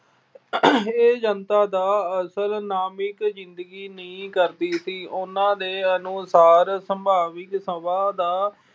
ਆਹ ਇਹ ਜਨਤਾ ਦਾ ਅਸਲ ਨਾਮਿਕ ਜਿੰਦਗੀ ਨਹੀਂ ਕਰਦੀ ਸੀ। ਉਹਨਾਂ ਦੇ ਅਨੁਸਾਰ ਸੰਭਾਵਿਕ ਸਭਾ ਦਾ